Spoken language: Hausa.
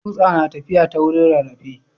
Tsutsa na tafiya ta wurin rarrafe.